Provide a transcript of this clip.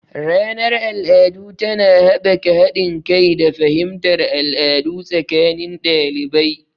Ranar al'adu tana haɓaka haɗin kai da fahimtar al'adu tsakanin ɗalibai.